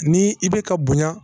Ni i bɛ ka bonya